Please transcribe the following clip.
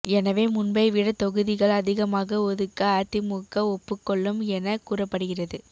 எனவே முன்பைவிட தொகுதிகள் அதிகமாக ஒதுக்க அதிமுக ஒப்புக்கொள்ளும் என கூறப்படுகிறது